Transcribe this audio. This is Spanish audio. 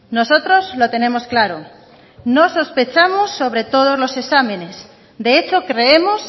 nosotros lo tenemos claro no sospechamos sobre todos los exámenes de hecho creemos